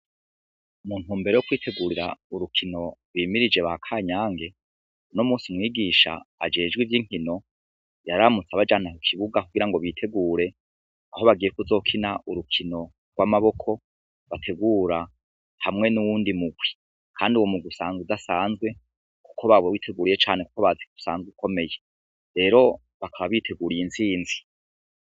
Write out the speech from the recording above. Mu ntumbero yo kwitegurira urukino bimirije ba Kanyange, uno musi mwigisha ajejwe ivy'inkino yararamutse abajana ku kibuga kugira ngo bitegure aho bagiye kuzokina urukino rw'amaboko bategura hamwe n'uyundi mugwi. Kandi uwo mugwi usanga udasanzwe kuko banawiteguriye cane kuko bazi kusanzwe ukomeye rero bakaba biteguriye intsinzi.